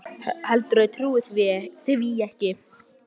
Heldurðu að ég trúi því ekki?